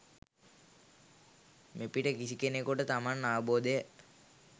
මෙපිට කිසි කෙනෙකුට තමන් අවබෝදය